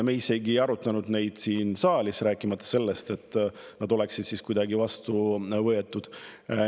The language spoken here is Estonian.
Me ei arutanud neid asju isegi siin saalis, rääkimata sellest, et oleks vastu võetud.